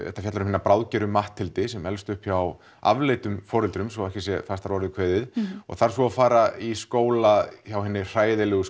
þetta fjallar um hina bráðþroska Matthildi sem elst upp hjá afleitum foreldrum svo ekki sé fastar að orði kveðið og þarf svo að fara í skóla hjá hinni hræðilegu